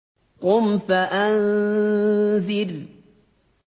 قُمْ فَأَنذِرْ